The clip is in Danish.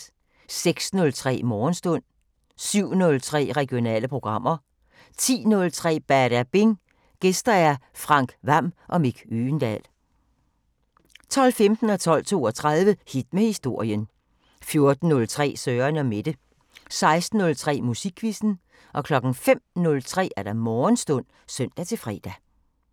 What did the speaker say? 06:03: Morgenstund 07:03: Regionale programmer 10:03: Badabing: Gæster Frank Hvam og Mick Øgendahl 12:15: Hit med historien 12:32: Hit med historien 14:03: Søren & Mette 16:03: Musikquizzen 05:03: Morgenstund (søn-fre)